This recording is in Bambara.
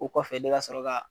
Ko kɔfɛ ne ka sɔrɔ ka.